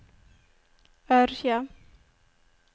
Ørje